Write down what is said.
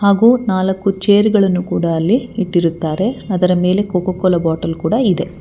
ಹಾಗು ನಾಲಕ್ಕು ಚೇರ್ ಗಳನ್ನು ಕೂಡ ಅಲ್ಲಿ ಇಟ್ಟಿರುತ್ತಾರೆ ಅದರ ಮೇಲೆ ಕೋಕೋ ಕೋಲಾ ಬಾಟಲ್ ಕೂಡಾ ಇದೆ.